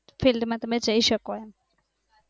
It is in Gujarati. field માં તમે જાય શકોમાં